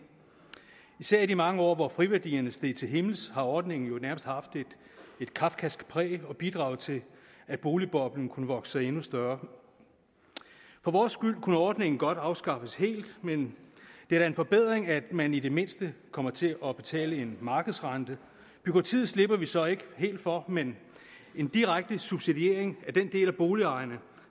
især i de mange år hvor friværdierne steg til himmels har ordningen jo nærmest haft et kafkask præg og bidraget til at boligboblen kunne vokse sig endnu større for vores skyld kunne ordningen godt afskaffes helt men det er da en forbedring at man i det mindste kommer til at betale en markedsrente bureaukratiet slipper vi så ikke helt for men en direkte subsidiering af den del af boligejerne